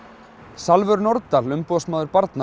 Salvör Nordal umboðsmaður barna